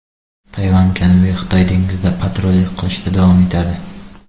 Tayvan Janubiy Xitoy dengizida patrullik qilishda davom etadi.